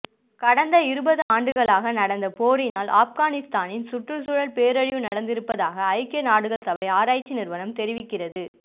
கடந்த இருபது ஆண்டுகளாக நடந்த போரினால் ஆஃப்கானிஸ்தானத்தின் சுற்றுச்சூழல் பேரழிவு நடந்திருப்பதாக ஐக்கிய நாடுகள் சபை ஆராய்ச்சி நிறுவனம் தெரிவிக்கிறது